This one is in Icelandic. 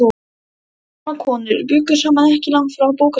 Tvær gamlar konur bjuggu saman ekki langt frá bókasafninu.